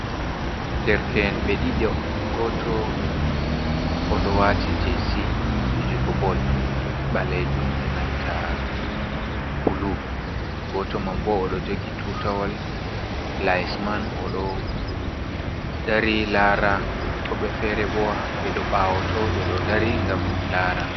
Derke’en ɓe ɗiɗo goto oɗo wati jc fijugo bol ɓalajum e nanta bulu, goto man bo oɗo jogi tutawol lais man oɗo dari lara woɓɓe fere bo ɓe ɗo ɓawoto ɓeɗo dari gam lara.